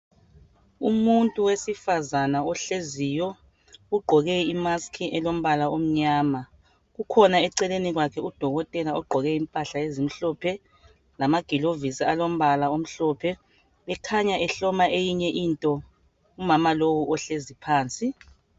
Umuntu wesifazana ohleziyo ugqoke imask elombala omnyama kukhona eceleni kwakhe udokotela ogqoke impahla ezimhlophe lamagilovisi alombala omhlophe ekhanya ehloma eyinye into kumama lowu ohlezi phansi.